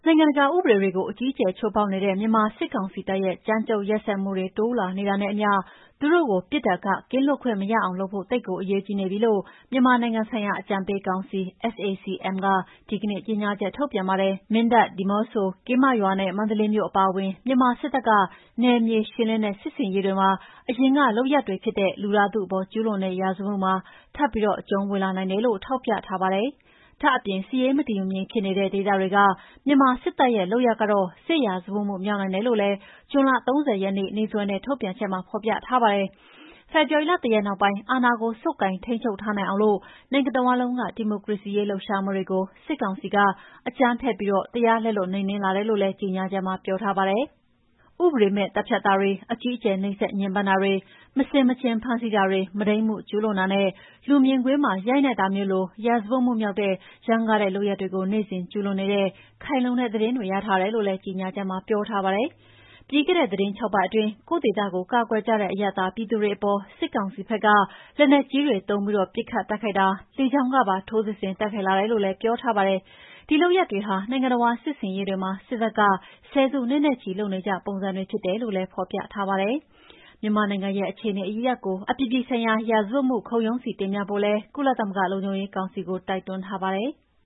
ိုင်ငံတကာဥပဒေတွေကိုအကြီးအကျယ်ချိုးဖောက်နေတဲ့ မြန်မာစစ်ကောင်စီတပ်ရဲ့ ကြမ်းကြုတ်ရက်စက်မှုတွေတိုးလာနေတာနဲ့အမ ျှ သူတို့ကို ပြစ်ဒဏ်ကကင်းလွတ်ခွင့်မရအောင်လုပ်ဖို့ သိပ်ကိုအရေးကြီးနေပြီလို့ မြန်မာနိုင်ငံဆိုင်ရာအကြံပေးကောင်စီ SAC-M ကဒီကနေ့ကြေငြာချက်ထုတ်ပြန်ပါတယ်။ မင်းတပ်၊ ဒီမောဆိုနဲ့ ကင်းမရွာနဲ့ မန္တလေးမြို့အပါအဝင် မြန်မာစစ်တပ်က နယ်မြေရှင်းလင်းတဲ့စစ်ဆင်ရေးတွေမှာ အရင်ကလုပ်ရပ်တွေဖြစ်တဲ့ လူသားထုအပေါ်ကျူးလွန်တဲ့ရာဇဝတ်မှုမှာ ထပ်ပြီးအကျူံးဝင်လာနိုင်တယ်လို့ ထောက်ပြထားပါတယ်။ ဒါ့အပြင်စစ်ရေးမတည်မငြိမ်ဖြစ်နေတဲ့ ဒေသတေေွက မြန်မာစစ်တပ်ရဲ့လုပ်ရပ်ကတော့ စစ်ရာဇဝတ်မှုမြောက်နိုင်တယ်လို့လည်း ဇွန်လ ၃၀ ရက်နေ့စွဲနဲ့ ထုတ်ပြန်ချက်မှာဖော်ပြပါတယ်။ ဖေဖော်ဝါရီလ ၁ ရက်နောက်ပိုင်း အာဏာကိုဆုပ်ကိုင်ထိန်းချုပ်ထားနိုင်အောင် နိုင်ငံတဝှမ်းလုံးက ဒီမိုကရေစီရေးလှုပ်ရှားမှုတွေကို စစ်ကောင်စီက အကြမ်းဖက်ပြီးတရားလက်လွတ် နှိမ်နှင်းလာတယ်လို့ လည်းကြေငြာချက်မှာပြောထားပါတယ်။ ဥပဒေမဲ့သတ်ဖြတ်တာတွေ၊ အကြီးအကျယ်နှိပ်စက်ညှဉ်းပန်းတာတွေ၊ မဆင်မခြင်ဖမ်းဆီးတာတွေ၊ မုဒိန်းမှုကျူးလွန်တာတွေနဲ့ လူမြင်ကွင်းမှာ ရိုက်နှက်တာမျိုးလို ရာဇဝတ်မှုမြောက်တဲ့ ရမ်းကားတဲ့လုပ်ရပ်တွေကိုနေ့စဉ်ကျူးလွန်နေတဲ့ခိုင်လုံတဲ့သတင်းတွေရထားတယ်လို့လည်း ကြေငြာချက်မှာ ပြောထားပါတယ်။ ပြီးခဲ့တဲ့သီတင်း ၆ ပတ်အတွင်း ကိုယ့်ဒေသကို ကာကွယ်ကြတဲ့ အရပ်သားပြည်သူတွေအပေါ် စစ်ကောင်စီဖက်က လက်နက်ကြီးတွေသုံးပြီး ပစ်ခတ်တိုက်ခိုက်တာတင်မက လေကြောင်းကပါ ထိုးစစ်ဆင်တိုက်ခိုက်လာတယ်လို့လည်းပြောထားပါတယ်။ ဒီလုပ်ရပ်တွေဟာ နိုင်ငံတဝှမ်းစစ်ဆင်ရေးတွေမှာ စစ်တပ်က ဆယ်စုနှစ်နဲ့ချီ လုပ်နေကျပုံစံတွေဖြစ်တယ်လို့လည်းဖော်ပြထားပါတယ်။ မြန်မာနိုင်ငံရဲ့အခြေအနေအရပ်ရပ်ကို အပြည်ပြည်ဆိုင်ရာရာဇဝတ်မှုခုံရုံးဆီတင်ပြဖို့လည်း ကုလသမဂ္ဂလုံခြုံရေးကောင်စီကိုတိုက်တွန်းထားပါတယ်။